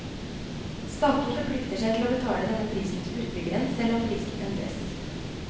Staten forplikter seg til å betale denne prisen til utbyggeren selv om prisen endres.